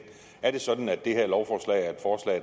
er det sådan at det her lovforslag